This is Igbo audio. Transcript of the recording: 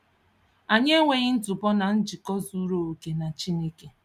Anyị enweghị ntụpọ na njikọ zuru oke na Chineke.